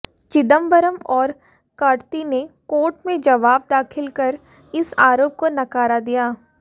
चिदंबरम और कार्ति ने कोर्ट में जवाब दाखिल कर इस आरोप को नकारा था